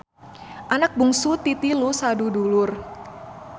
Anak bungsu ti tilu sadudulur.